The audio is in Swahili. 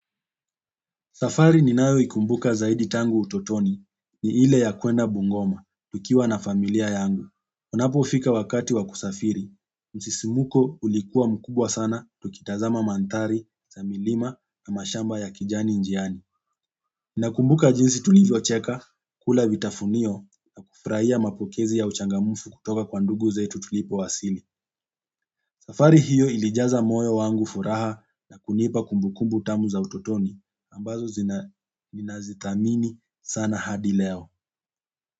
Safari ninayo ikumbuka zaidi tangu utotoni ni ile ya kwenda bungoma, tukiwa na familia yangu. Unapofika wakati wa kusafiri, msisimuko ulikuwa mkubwa sana, tukitazama mandhari, za milima na mashamba ya kijani njiani. Nakumbuka jinsi tulivyocheka, kula vitafunio na kufurahia mapokezi ya uchangamfu kutoka kwa ndugu zetu tulipo wasili safari hiyo ilijaza moyo wangu furaha na kunipa kumbukumbu tamu za utotoni, ambazo ninazi dhamini sana hadi leo.